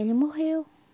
Ele morreu.